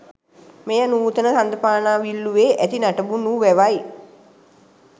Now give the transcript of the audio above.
මෙය නූතන හඳපානාවිල්ලුවේ ඇති නටබුන් වූ වැවයි.